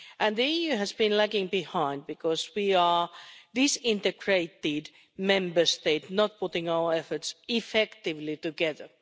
The EU has been lagging behind because we are disintegrated Member States, not putting our efforts effectively together.